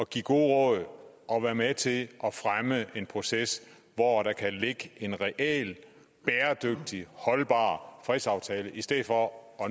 give gode råd og være med til at fremme en proces hvor der kan ligge en reel bæredygtig og holdbar fredsaftale i stedet for